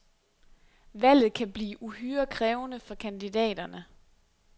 Valget kan blive uhyre krævende for kandidaterne.